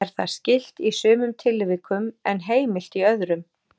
Er það skylt í sumum tilvikum en heimilt í öðrum.